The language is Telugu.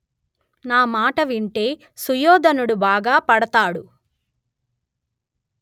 నా మాట వింటే సుయోధనుడు బాగా పడతాడు